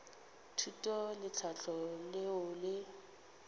thuto le tlhahlo leo le